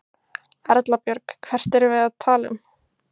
Erla Björg: Hvert erum við að tala um?